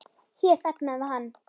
Hér þagnaði hann.